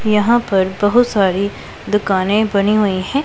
यहां पर बहुत सारी दुकानें बनी हुई है।